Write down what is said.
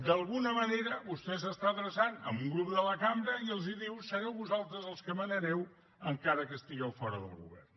d’alguna manera vostè s’està adreçant a un grup de la cambra i els diu sereu vosaltres els que manareu encara que estigueu fora del govern